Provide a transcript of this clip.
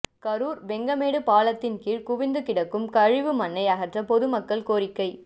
கரூர் வெங்கமேடு பாலத்தின்கீழ் குவிந்து கிடக்கும் கழிவு மண்ணை அகற்ற பொதுமக்கள் கோரிக்கை